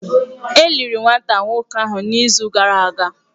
E liri nwata nwoke ahụ n’izu gara aga.